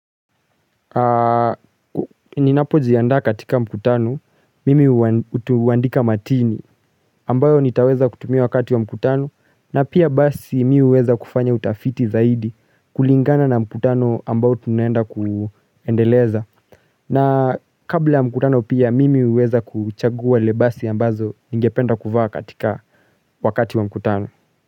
Ninapojianda katika mkutano mimi utuandika matini ambayo nitaweza kutumia wakati wa mkutano na pia basi mii uweza kufanya utafiti zaidi kulingana na mkutano ambayo tunenda kuendeleza na kabla mkutano pia mimi uweza kuchagua ule vasi ambazo ningependa kuvaa katika wakati wa mkutano.